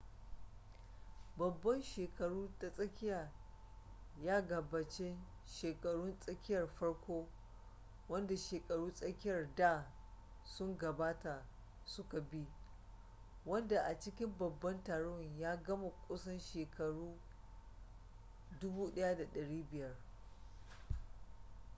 babban shekaru ta tsakiya ya gabace shakarun tsakiyar farko wanda shakaru tsakiyar da sun gabata su ka bi wanda a cikin babban taron ya gama kusan shekaru 1500